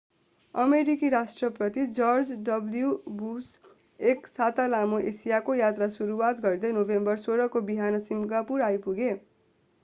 अमेरिकी राष्ट्रपति George W Bush एक साता लामो एसियाको यात्रा सुरुवात गर्दै नोभेम्बर 16 को बिहान सिङ्गापुर आइपुगे